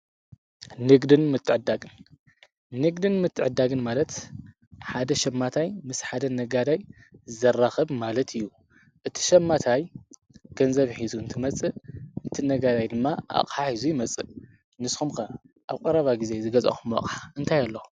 ንግድን ምትዕድዳግን፥ ንግድን ምትዕዳግን ማለት ሓደ ሸማታይ ምስ ሓደ ነጋዳይ ዘራኽብ ማለት እዩ። እቲ ሸማታይ ገንዘብ ሒዙ እንትመጽእ እቲ ነጋዳይ ድማ ኣቕሓ ሒዙ ይመጽእ ንስከምክ ኣብ ቈረባ ጊዜ ዝገዛኹምዎ ኣቕሕ እንተይ ኣሎ?